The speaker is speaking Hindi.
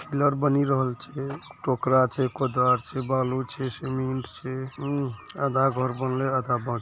घर बनी रहल छै टोकरा छै कुदाल छै बालू छै सीमेंट छै अम आधा घर बनले आधा ब --